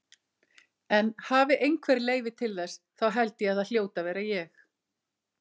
En hafi einhver leyfi til þess, þá held ég að það hljóti að vera ég.